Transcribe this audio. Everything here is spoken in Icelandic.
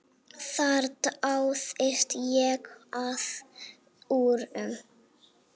Þar dáðist ég að úrum.